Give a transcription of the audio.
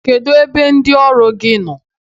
Kedụ ebe ndị ọrụ gị nọ?